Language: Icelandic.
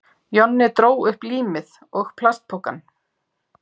Jonni dró upp límið og plastpokann.